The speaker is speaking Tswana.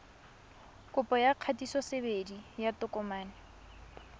kopo ya kgatisosebedi ya tokomane